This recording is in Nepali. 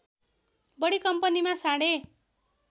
बढी कम्पनीमा साढे